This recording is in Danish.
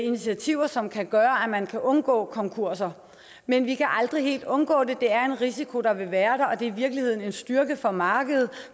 initiativer som kan gøre at man kan undgå konkurser men vi kan aldrig helt undgå det det er en risiko der vil være der og det er i virkeligheden en styrke for markedet